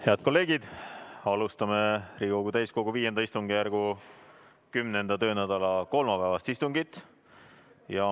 Head kolleegid, alustame Riigikogu täiskogu V istungjärgu 10. töönädala kolmapäevast istungit.